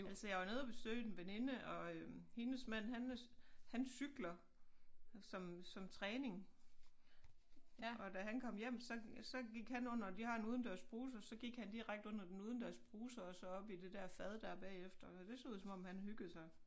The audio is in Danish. Altså jeg var nede og besøge en veninde og øh hendes mand han han cykler som som træning og da han kom hjem så så gik han under de har en udendørsbruser så gik han direkte under den udendørsbruser og så op i det der fad der bagefter det så ud som om han hyggede sig